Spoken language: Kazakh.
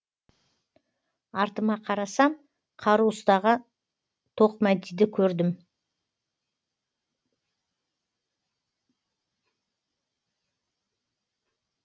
артыма қарасам қару ұстаған тоқмәдиді көрдім